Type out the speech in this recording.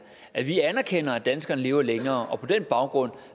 at vi anerkender at danskerne lever længere og på den baggrund